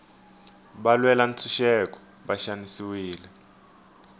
valwela ntshuxeko va xanisiwile